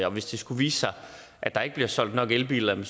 og hvis det skulle vise sig at der ikke bliver solgt nok elbiler er det